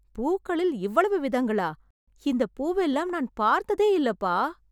பூக்களில் இவ்வளவு விதங்களா? இந்தப் பூவெல்லாம் நான் பார்த்ததே இல்லப்பா.